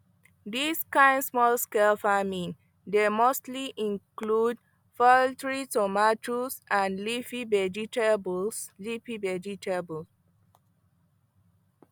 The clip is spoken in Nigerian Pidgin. dis kind smallscale farming dey mostly include poultry tomatoes and leafy vegetables leafy vegetables